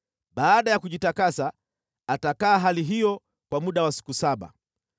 Baada ya kujitakasa, atakaa hali hiyo kwa muda wa siku saba.